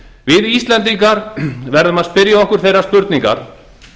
við íslendingar verðum að spyrja okkur þeirrar spurningar